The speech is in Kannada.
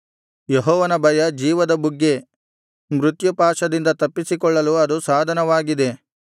ಯೆಹೋವನ ಭಯ ಜೀವದ ಬುಗ್ಗೆ ಮೃತ್ಯುಪಾಶದಿಂದ ತಪ್ಪಿಸಿಕೊಳ್ಳಲು ಅದು ಸಾಧನವಾಗಿದೆ